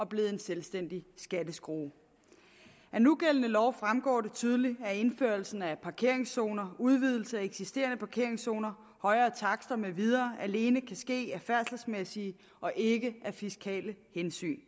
blevet en selvstændig skatteskrue af nugældende lov fremgår det tydeligt at indførelsen af parkeringszoner udvidelse af eksisterende parkeringszoner højere takster med videre alene kan ske af færdselsmæssige og ikke af fiskale hensyn